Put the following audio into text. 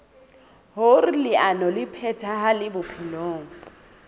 hoer leano le phethahale bophelong